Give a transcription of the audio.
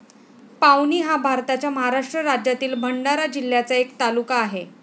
पावनी हा भारताच्या महाराष्ट्र राज्यातील भंडारा जिल्ह्याचा एक तालुका आहे.